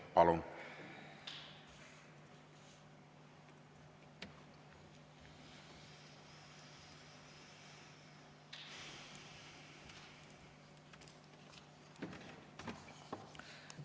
Palun!